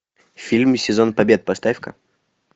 фильм сезон побед поставь ка